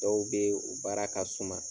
Dɔw be yen, u baara ka suma